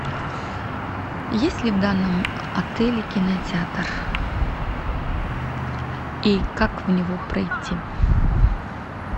есть ли в данном отеле кинотеатр и как в него пройти